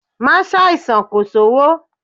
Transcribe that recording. Má ṣàìsàn kò sówó!